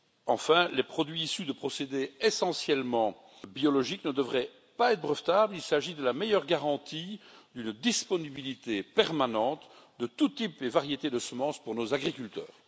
Enfin, les produits issus de procédés essentiellement biologiques ne devraient pas être brevetables, il s'agit de la meilleure garantie d'une disponibilité permanente de tous types et variétés de semences pour nos agriculteurs.